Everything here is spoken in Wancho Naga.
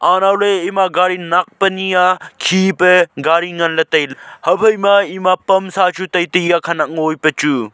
anow ley ema gari nak pani a khe pe gari ngan ley tailey haphai ma ema pansa chu tai a khenek ngo a pechu.